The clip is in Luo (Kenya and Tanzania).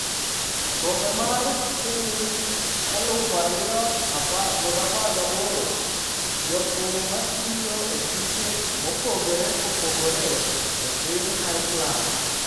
Kombe mar Piny 2018: Jothum ma tiyo e tuke mopogore opogore e piny Iceland